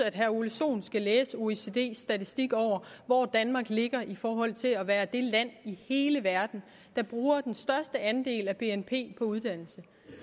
at herre ole sohn skal læse oecds statistik over hvor danmark ligger i forhold til at være det land i hele verden der bruger den største andel af bnp på uddannelse